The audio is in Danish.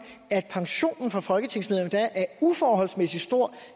at pensionen for folketingsmedlemmer er uforholdsmæssig stor